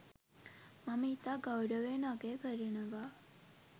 මම ඉතා ගෞරවයෙන් අගය කරනවා.